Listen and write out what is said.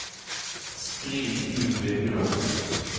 skriv ut vinduet